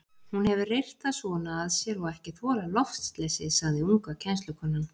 Hún hefur reyrt það svona að sér og ekki þolað loftleysið, sagði unga kennslukonan.